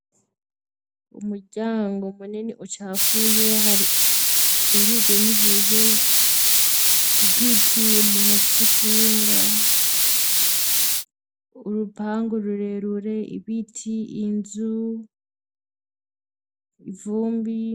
umuryango munini ucafuye hari ukingirijwe nibuye igiti umuntu afisikinga urupangu rurerure ibiti inzu ivumbi